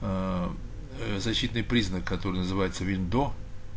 аа ээ защитный признак который называется виндо